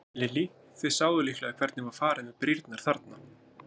Lillý: Þið sáuð líklega hvernig var farið með brýrnar þarna?